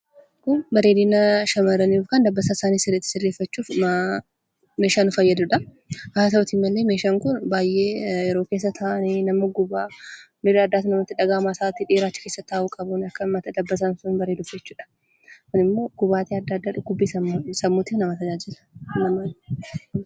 Kun bareedina shamaarranii yookiin dabbasaa isaanii ittiin sirreeffachuuf meeshaa nu fayyadudha. Haa ta'uutii malee meeshaan Kun baayyee yeroo keessa taa'anii nama gubbaa, miirri addaas namatti dhagaahamaa. Sa'aatii dheeraa achi keessa taa'uu qabama akka rifeensi bareeduuf jechuudha Kun immoo gubaatii addaa addaa dhukkubbii sammuu namatti fida.